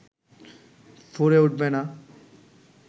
ফোরে উঠবে না